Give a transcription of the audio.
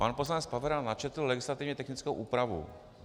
Pan poslanec Pavera načetl legislativně technickou úpravu.